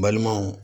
Balimaw